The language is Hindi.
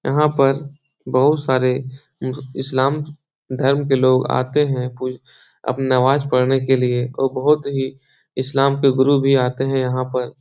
यहाँ पर बहुत सारे इ-इस्लाम धर्म के लोग आते हैं कुछ नमाज़ पढ़ने के लिए और बहोत ही इस्लाम को गुरु भी आते हैं यहाँ पर।